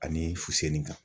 Ani fuseni kan.